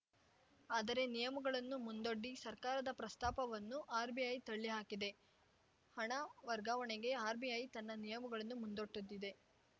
ಆದರೆ ನಿಯಮಗಳನ್ನು ಮುಂದೊಡ್ಡಿ ಸರ್ಕಾರದ ಪ್ರಸ್ತಾಪವನ್ನು ಆರ್‌ಬಿಐ ತಳ್ಳಿ ಹಾಕಿ ದೆ ಹಣ ವರ್ಗಾವಣೆಗೆ ಆರ್‌ಬಿಐ ತನ್ನ ನಿಯಮಗಳನ್ನು ಮುಂದೊಡ್ಡುತ್ತಿದೆ